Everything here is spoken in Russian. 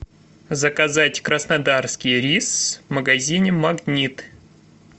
заказать краснодарский рис в магазине магнит